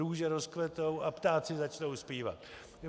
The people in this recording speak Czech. Růže rozkvetou a ptáci začnou zpívat.